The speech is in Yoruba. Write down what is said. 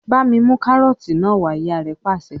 "Bá mi mú kárọ́tì náà wà á!" Ìyá rẹ̀ pàṣẹ.